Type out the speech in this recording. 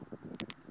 a ndzi nga si tshama